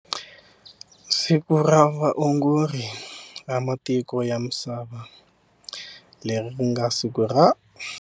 Siku ra vaongori ra matiko ya misava, leri ri nga siku ra.